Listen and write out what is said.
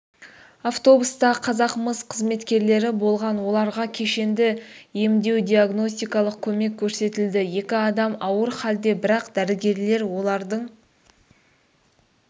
автобуста қазақмыс қызметкерлері болған оларға кешенді емдеу-диагностикалық көмек көрсетілді екі адам ауыр халде бірақ дәрігерлер олардың